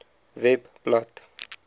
webblad